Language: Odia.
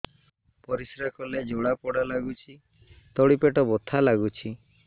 ପରିଶ୍ରା କଲେ ଜଳା ପୋଡା ଲାଗୁଚି ତଳି ପେଟ ବଥା ଲାଗୁଛି